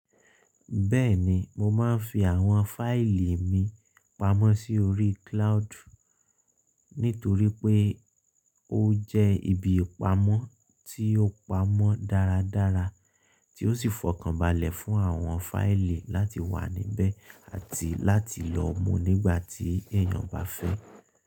Bẹ́ẹ̀ni, mo máa ń fi àwọn fáìlì mi pamọ́ sí orí cloud nítorí pé ó jẹ́ ibi ìpamọ́ tí ó pamọ́ dáradára tí ó sì fọkànbalẹ̀ fún àwọn fáìlì láti wà níbẹ̀ àti láti lọ mú nígbàtí èèyàn bá fẹ́.